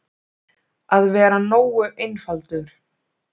Að vera nógu einfaldur.